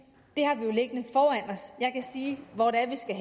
virke hvordan skal